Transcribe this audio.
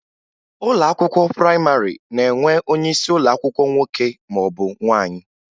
Ụlọ akwụkwọ prayịmarị na-enwe onyeisi ụlọ akwụkwọ nwoke maọbụ nwaanyị